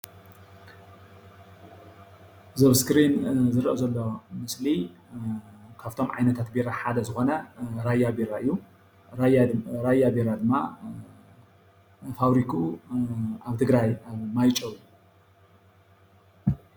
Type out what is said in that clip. እዚ ኣብ እስክሪን ዝረአ ዘሎ ምስሊ ካብቶም ዓይነታት ቢራ ሓደ ዝኮነ ራያ ቢራ እዩ፣ ራያ ቢራ ድማ ፋብሪክኡ ኣብ ትግራይ ማይጨው እዩ፡፡